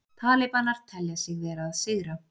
Talibanar telja sig vera að sigra